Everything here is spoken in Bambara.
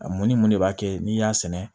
A mun ni mun de b'a kɛ n'i y'a sɛnɛ